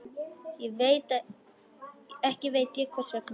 Ekki veit ég hvers vegna.